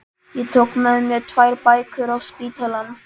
Ég tók með mér tvær bækur á spítalann